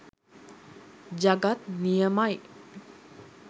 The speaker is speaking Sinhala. ජගත් නියමයි.